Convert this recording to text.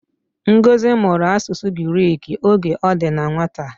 Ngozi mụrụ asụsụ Giriki oge o di na nwata